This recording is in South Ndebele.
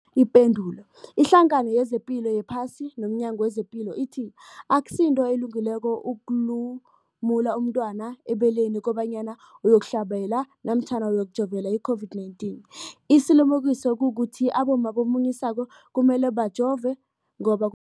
Ipendulo, iHlangano yezePilo yePhasi nomNyango wezePilo ithi akusinto elungileko ukulumula umntwana ebeleni kobanyana uyokuhlabela, uyokujovela i-COVID-19. Isilimukiso kukuthi abomma abamunyisako kumele bajove ngoba kuphephile.